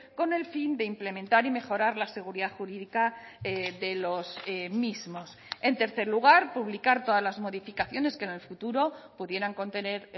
con el fin de implementar y mejorar la seguridad jurídica de los mismos en tercer lugar publicar todas las modificaciones que en el futuro pudieran contener